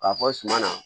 K'a fɔ suma na